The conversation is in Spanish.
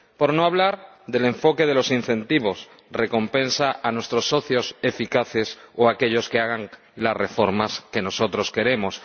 Por no hablar del enfoque de los incentivos, la recompensa a nuestros socios eficaces o a aquellos que hagan las reformas que nosotros queremos.